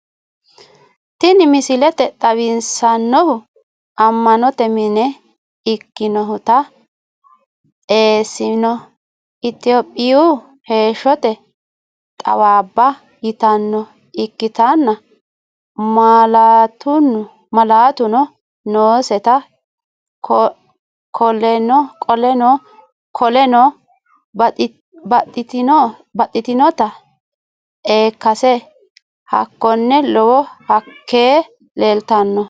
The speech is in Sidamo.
tiini miisile xawisanohu ammanote miine ekkinotana essenno ethiopiyu heshotte tawabba yiitata ikktana maalatuno nooseta koolenno baaxitinota ekkase haakono lowoo haake leltanno.